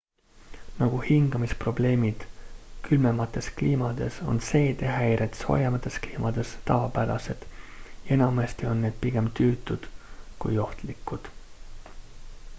nagu hingamisprobleemid külmemates kliimades on seedehäired soojemates kliimades tavapärased ja enamasti on need pigem tüütud kui ohtlikud